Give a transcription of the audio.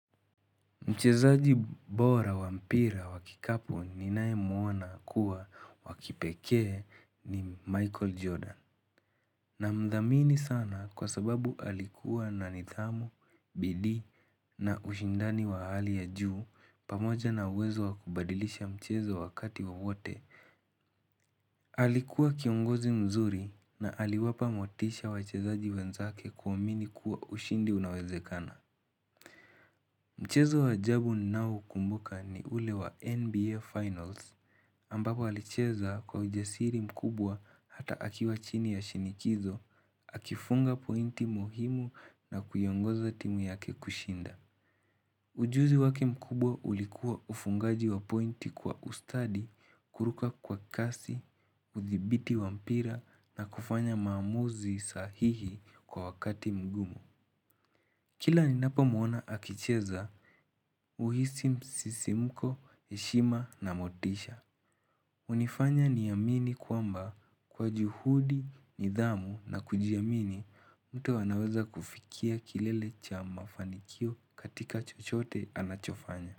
Mchezaji bora wa mpira wa kikapu ninayemuona kuwa wakipekee ni Michael Jordan. Na mthamini sana kwa sababu alikuwa na nidhamu, bidii na ushindani wa hali ya juu pamoja na uwezo wakubadilisha mchezo wakati wawote. Alikuwa kiongozi mzuri na aliwapa motisha wachezaji wenzake kuamini kuwa ushindi unawezekana. Mchezo wa ajabu ninao ukumbuka ni ule wa NBA Finals, ambapo alicheza kwa ujasiri mkubwa hata akiwa chini ya shinikizo, akifunga pointi muhimu na kuiongoza timu yake kushinda. Ujuzi waki mkubwa ulikuwa ufungaji wa pointi kwa ustadi, kuruka kwa kasi, udhibiti wa mpira na kufanya maamuzi sahihi kwa wakati mgumu. Kila ninapo muona akicheza, huhisi msisimuko, heshima na motisha. Hunifanya niamini kwamba kwa juhudi, nidhamu na kujiamini mtu anaweza kufikia kilele cha mafanikio katika chochote anachofanya.